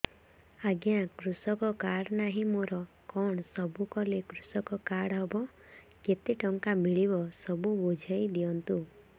ଆଜ୍ଞା କୃଷକ କାର୍ଡ ନାହିଁ ମୋର କଣ ସବୁ କଲେ କୃଷକ କାର୍ଡ ହବ କେତେ ଟଙ୍କା ମିଳିବ ସବୁ ବୁଝାଇଦିଅନ୍ତୁ